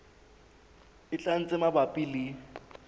e tlang tse mabapi le